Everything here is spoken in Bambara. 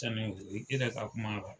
kuma